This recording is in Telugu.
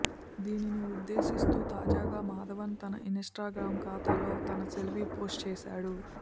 దీనిని ఉద్దేశిస్తూ తాజాగా మాధవన్ తన ఇన్స్టాగ్రామ్ ఖాతాలో తన సెల్ఫీ పోస్ట్ చేశాడు